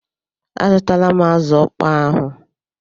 Azụtala m azụ ọkpọọ ahụ.